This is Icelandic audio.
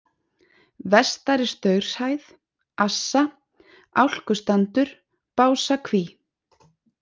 Vestari Staurshæð, Assa, Álkustandur, Básakví